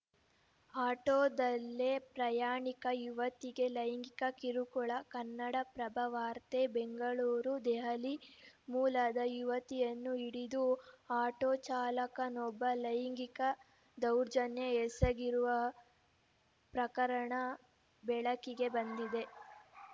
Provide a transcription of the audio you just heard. ಆಟೋದಲ್ಲೇ ಪ್ರಯಾಣಿಕ ಯುವತಿಗೆ ಲೈಂಗಿಕ ಕಿರುಕುಳ ಕನ್ನಡಪ್ರಭ ವಾರ್ತೆ ಬೆಂಗಳೂರು ದೆಹಲಿ ಮೂಲದ ಯುವತಿಯನ್ನು ಹಿಡಿದು ಆಟೋ ಚಾಲಕನೊಬ್ಬ ಲೈಂಗಿಕ ದೌರ್ಜನ್ಯ ಎಸಗಿರುವ ಪ್ರಕರಣ ಬೆಳಕಿಗೆ ಬಂದಿದೆ